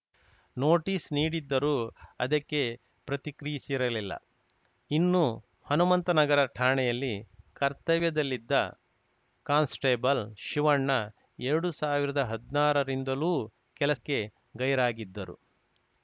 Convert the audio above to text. notice ನೀಡಿದ್ದರೂ ಅದಕ್ಕೆ ಪ್ರತಿಕ್ರಿಸಿರಲಿಲ್ಲ ಇನ್ನು ಹನುಮಂತನಗರ ಠಾಣೆಯಲ್ಲಿ ಕರ್ತವ್ಯದಲ್ಲಿದ್ದ ಕಾನ್ಸ್‌ಟೇಬಲ್‌ ಶಿವಣ್ಣ ಎರಡ್ ಸಾವಿರ್ದಾ ಹದ್ನಾರರಿಂದಲೂ ಕೆಲಸಕ್ಕೆ ಗೈರಾಗಿದ್ದರು